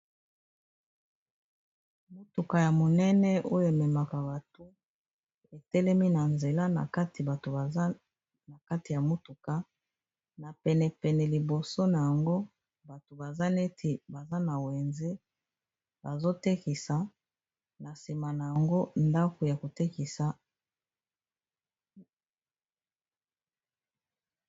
Mutuka ya monene oyo ememaka bato etelemi na nzela na kati bato baza na kati ya motuka na penepene liboso na yango bato baza neti baza na wenze bazotekisa na sima na yango ndako ya kotekisa.